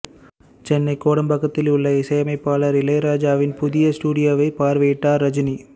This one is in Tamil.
சென்னை கோடம்பாக்கத்தில் உள்ள இசையமைப்பாளர் இளையராஜாவின் புதிய ஸ்டுடியோவை பார்வையிட்டார் ரஜினி